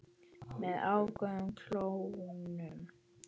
Með öfugum klónum.